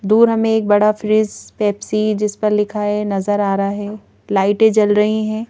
दूर हमें एक बड़ा फ्रिज पेप्सी जिस पर लिखा है नजर आ रहा है लाइटें जल रही हैं।